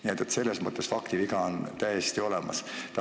Nii et selles mõttes oli viga täiesti olemas.